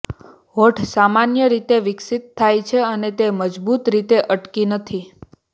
હોઠ સામાન્ય રીતે વિકસિત થાય છે અને તે મજબૂત રીતે અટકી નથી